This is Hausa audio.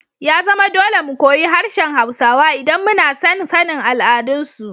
Ya zama dole mu koyi harshen Hausawa idan muna son sanin al'adunsu.